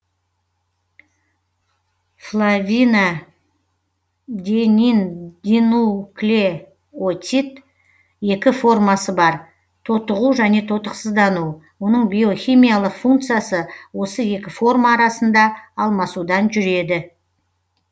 флавинадениндинуклеотид екі формасы бар тотығу және тотықсыздану оның биохимиялық функциясы осы екі форма арасында алмасудан жүреді